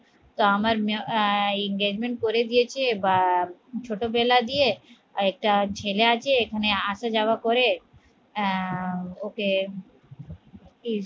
তো আমার মেয়ে আহ engagement করে দিয়েছে বা ছোটবেলা দিয়ে একটা ছেলে আছে এখানে আসা যাওয়া করে আহ ওকে